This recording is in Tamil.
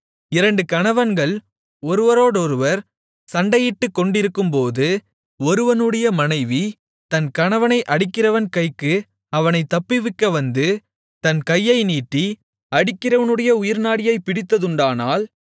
இரண்டு கணவன்கள் ஒருவரோடொருவர் சண்டையிட்டுக்கொண்டிருக்கும்போது ஒருவனுடைய மனைவி தன் கணவனை அடிக்கிறவன் கைக்கு அவனைத் தப்புவிக்க வந்து தன் கையை நீட்டி அடிக்கிறவனுடைய உயிர்நாடியைப் பிடித்ததுண்டானால்